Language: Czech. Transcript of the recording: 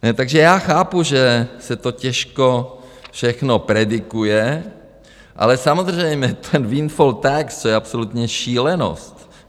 Takže já chápu, že se to těžko všechno predikuje, ale samozřejmě ten windfall tax, to je absolutní šílenost.